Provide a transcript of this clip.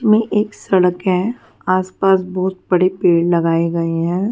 में एक सड़क है आसपास बहुत बड़े पेड़ लगाए गए हैं.